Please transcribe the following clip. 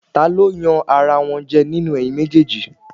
Ta ló yan ara wọn jẹ nínú ẹ̀yin méjèèjì?